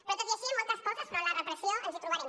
però tot i així en moltes coses davant la repressió ens hi trobarem